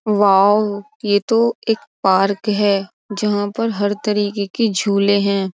Wow यह तो एक पार्क है। जहां‌‌ पर हर तरीके के झूले है।